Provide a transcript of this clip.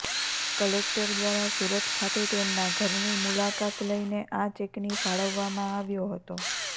collector દ્વારા સુરત ખાતે તેમના ઘરની મુલાકાત લઇને આ ચેકની ફાળવવામાં આવ્યો હતો